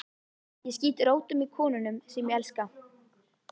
Ég skýt rótum í konunum sem ég elska.